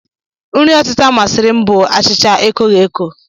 Nri ọtịta masịrị m bụ achịcha ekoghi eko